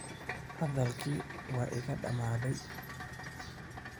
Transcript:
Hadalkii waa iga dhammaaday.